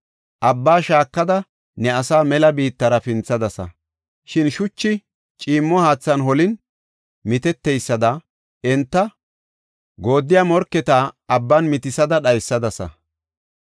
Abbaa shaakada ne asaa mela biittara pinthadasa. Shin shuchi ciimmo haathan holin, miteteysada enta goodiya morketa abban mitisada dhaysadasa.